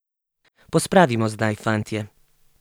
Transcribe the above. Pospravimo zdaj, fantje.